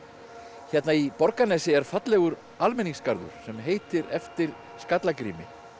hérna í Borgarnesi er fallegur almenningsgarður sem heitir eftir Skallagrími